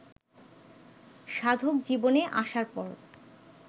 সাধকজীবনে আসার পর